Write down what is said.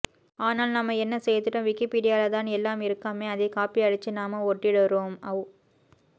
ஆனால் நாம என்ன செய்துட்டோம் விக்கிப்பீடியால தான் எல்லாம் இருக்காமே அதை காப்பி அடிச்சு நாம ஒட்டிடுறோம் அவ்வ்